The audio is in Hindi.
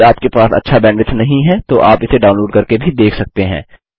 यदि आपके पास अच्छा बैंडविड्थ नहीं है तो आप इसे डाउनलोड़ करके भी देख सकते हैं